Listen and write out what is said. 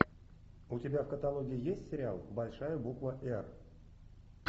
у тебя в каталоге есть сериал большая буква р